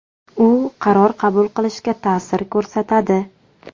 U qaror qabul qilishga ta’sir ko‘rsatadi.